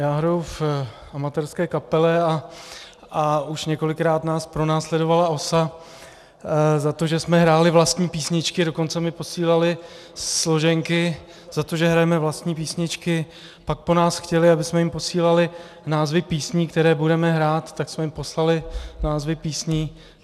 Já hraju v amatérské kapele a už několikrát nás pronásledovala OSA za to, že jsme hráli vlastní písničky, a dokonce mi posílali složenky za to, že hrajeme vlastní písničky, pak po nás chtěli, abychom jim posílali názvy písní, které budeme hrát, tak jsme jim poslali názvy písní.